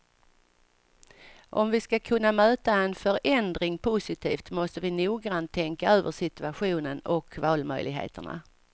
Om vi ska kunna möta en förändring positivt måste vi noggrant tänka över situationen och valmöjligheterna.